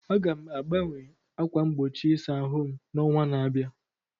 Aga m agbanwe ákwà mgbochi ịsa ahụ m n'ọnwa na-abịa.